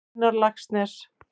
Einar Laxness.